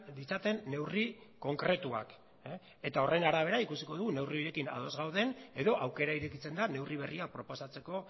ditzaten neurri konkretuak eta horren arabera ikusiko dugu neurri horiekin ados gauden edo aukera irekitzen da neurri berria proposatzeko